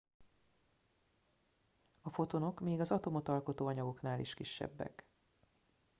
a fotonok még az atomot alkotó anyagoknál is kisebbek